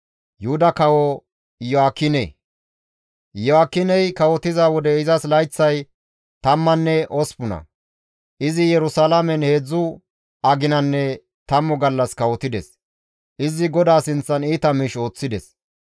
Iyo7aakiney kawotiza wode izas layththay tammanne osppuna; Izi Yerusalaamen heedzdzu aginanne tammu gallas kawotides. Izi GODAA sinththan iita miish ooththides.